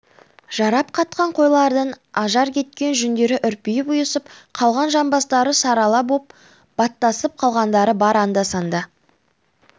жарап қатқан қойлардан ажар кеткен жүндері үрпиіп ұйысып қалған жамбастары сарала боп баттасып қалғандары бар анда-санда